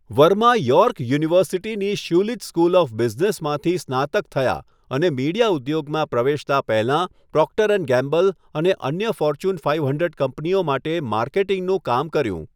Verma York યુનિવર્સિટીની Schulich school of બિઝનેસમાંથી સ્નાતક થયા અને મીડિયા ઉદ્યોગમાં પ્રવેશતાં પહેલાં પ્રોક્ટર એન્ડ ગેમ્બલ અને અન્ય ફોર્ચ્યૂન ફાઈવ હન્ડ્રેડ કંપનીઓ માટે માર્કેટિંગનું કામ કર્યું.